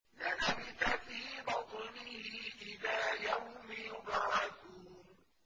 لَلَبِثَ فِي بَطْنِهِ إِلَىٰ يَوْمِ يُبْعَثُونَ